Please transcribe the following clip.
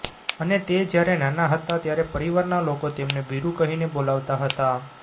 અને તે જ્યારે નાના હતા ત્યારે પરિવારના લોકો તેમને વીરુ કહીને બોલવતા હતા